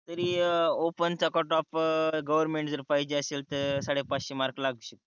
तरी ओपन चा cut off government जर पाहिजे असेल तर साडे पाचशे मार्क लागते